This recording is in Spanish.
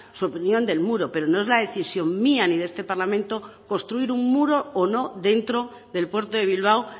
su opinión del muro pero no es la decisión mía ni de este parlamento construir un muro o no dentro del puerto de bilbao